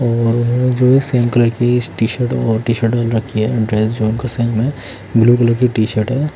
जो की टी-शर्ट पहन रखी है ब्लू कलर की टी-शर्ट है।